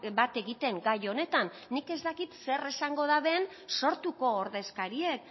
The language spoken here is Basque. bat egiten gai honetan nik ez dakit zer esango daben sortuko ordezkariek